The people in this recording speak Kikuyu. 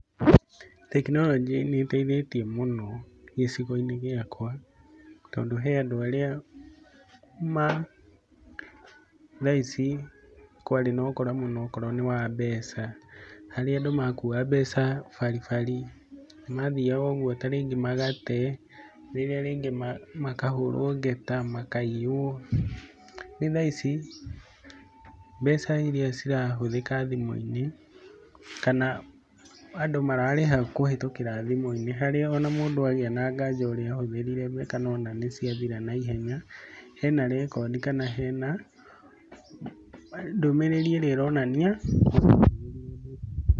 Tekinoronjĩ nĩ ĩteithetie muno gĩcigoinĩ giakwa tondũ he andũ arĩa ma thaa ici kwarĩ na ũkora mũno wa mbeca. Harĩa andũ makuua mbeca, baribari mathĩaga ũgũo ta rĩngĩ magate, rĩrĩa rĩngĩ makahũrwo ngeta , makaiywo. Reu thaa ici, mbeca irĩa cira hũthika thimũ-ini, kana andũ mararĩha kũhĩtũkĩra thimũ-inĩ, kana mararĩha kuhĩtũkĩra thimũ, harĩa ona mũndũ agĩa na nganja ũrĩa ahũthĩrire mbeca, kana ona nĩ ciathira na ihenya, hena rekodi, kana hena ndũmĩrĩri ĩrĩa ĩronanĩa.